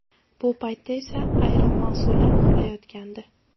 Bu paytda esa ayrim mas’ullar uxlayotgandi.